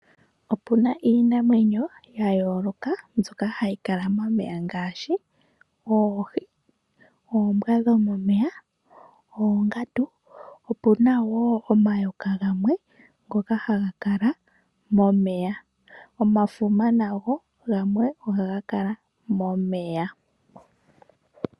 Opuna iinamwenyo ya yooloka mboka hayi kala momeya ngaashi oohi, oombwa dhomeya, oongandu. Opuna wo omayoka gamwe haga kala momeya, omafuma nago gamwe ohaga Kala momeya.